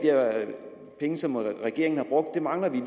penge som regeringen har brugt det mangler vi